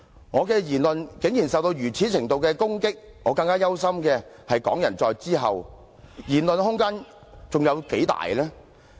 我的言論竟然受到如此程度的攻擊，我更憂心的是港人在以後的言論空間還能有多大？